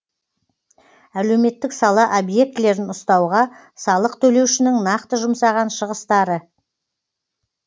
әлеуметтік сала объектілерін ұстауға салық төлеушінің нақты жұмсаған шығыстары